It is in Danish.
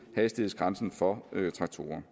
hastighedsgrænsen for traktorer